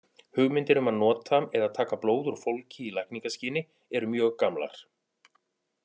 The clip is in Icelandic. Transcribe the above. Hugmyndir um að nota eða taka blóð úr fólki í lækningaskyni eru mjög gamlar.